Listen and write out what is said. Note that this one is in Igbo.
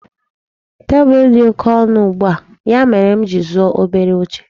Tebụl dị oke ọnụ ugbua, ya mere m ji zụọ obere oche.